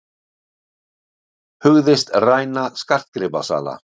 Hugðist ræna skartgripasala